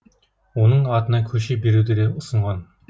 оның атына көше беруді де ұсынған